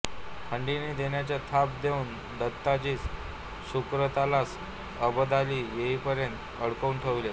खंडणी देण्याची थाप देऊन दत्ताजीस शुक्रतालास अबदाली येईपर्यंत अडकवून ठेविलें